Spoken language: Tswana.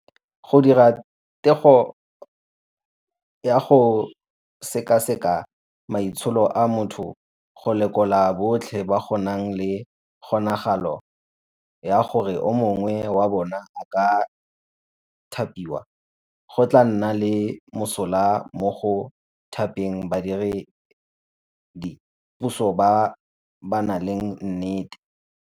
Go dira teko ya go sekaseka maitsholo a motho go lekola botlhe ba go nang le kgonagalo ya gore o mongwe wa bona a ka thapiwa, go tla nna le mosola mo go thapeng badiredi puso ba ba nang le nnete.